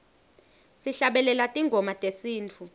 sihlabelela tingoma tesintfu